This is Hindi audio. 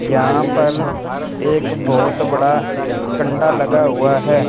यहां पर एक बहुत बड़ा कंडा लगा हुआ है।